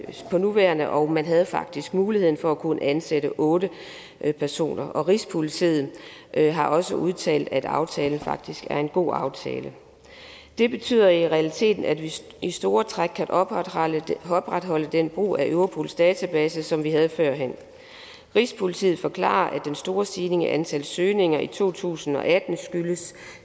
for nuværende og man havde faktisk mulighed for at kunne ansætte otte personer rigspolitiet har også udtalt at aftalen faktisk er en god aftale det betyder i realiteten at vi i store træk kan opretholde opretholde den brug af europols database som vi havde førhen rigspolitiet forklarer at den store stigning i antallet af søgninger i to tusind og atten